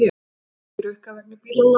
Ekki rukkað vegna bílalána